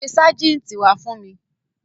Pe ságìǹtì wá fún mi.